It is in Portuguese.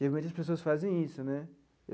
Geralmente, as pessoas fazem isso, né?